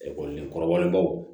Ekɔlidenkɔrɔbaw